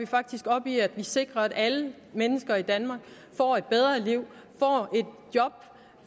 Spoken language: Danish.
faktisk op i at vi sikrer at alle mennesker i danmark får et bedre liv